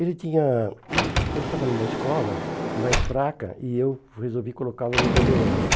Ele tinha... Ele estava numa escola mais fraca e eu resolvi colocá-lo no Bandeirantes.